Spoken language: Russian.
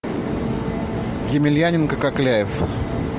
емельяненко кокляев